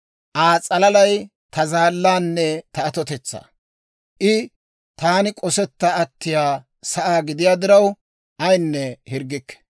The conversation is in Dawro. Aa s'alalay ta zaallaanne ta atotetsaa; I taani k'osetta attiyaa sa'aa gidiyaa diraw, ayinne hirggikke.